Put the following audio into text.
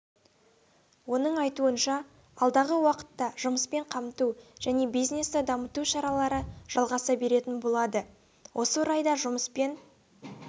оның айтуынша алдағы уақытта жұмыспен қамту және бизнесті дамыту шаралары жалғаса беретін болады осы орайда жұмыспен